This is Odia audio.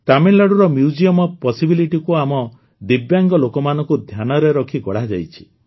ତାମିଲନାଡୁର ମ୍ୟୁଜିୟମ ଓଏଫ୍ Possibilityକୁ ଆମ ଦିବ୍ୟାଙ୍ଗ ଲୋକମାନଙ୍କୁ ଧ୍ୟାନରେ ରଖି ଗଢ଼ାଯାଇଛି